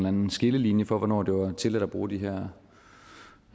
anden skillelinje for hvornår det var tilladt at bruge de her